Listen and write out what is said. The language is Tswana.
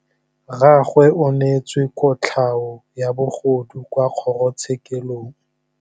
Rragwe o neetswe kotlhaô ya bogodu kwa kgoro tshêkêlông.